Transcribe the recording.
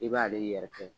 I b'ale yɛrɛ kɛ